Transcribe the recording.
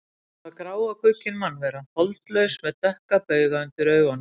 Þetta var grá og guggin mannvera, holdlaus með dökka bauga undir augunum.